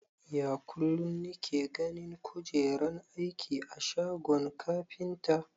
Ya kulun nike ganin kujeran aiki a shagon kafinta?